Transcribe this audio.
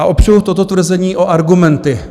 A opřu toto tvrzení o argumenty.